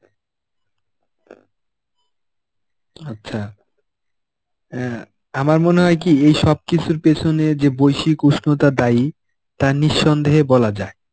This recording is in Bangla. আচ্ছা অ্যাঁ আমার মনে হয় কি এই সব কিছুর পেছনে যে বৈশিক উষ্ণতা দায়ী তা নিঃসন্দেহে বলা যায়.